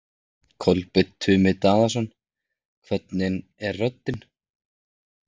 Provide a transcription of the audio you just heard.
Kolbeinn Tumi Daðason: Hvernig er röddin?